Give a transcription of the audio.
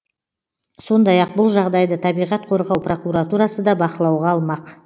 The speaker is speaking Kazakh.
сондай ақ бұл жағдайды табиғат қорғау прокуратурасы да бақылауға алмақ